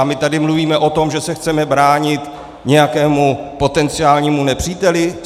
A my tady mluvíme o tom, že se chceme bránit nějakému potenciálnímu nepříteli?